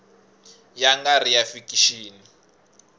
ya nga ri ya fikixini